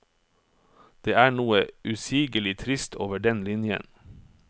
Det er noe usigelig trist over den linjen.